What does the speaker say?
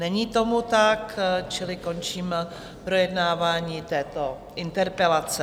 Není tomu tak, čili končím projednávání této interpelace.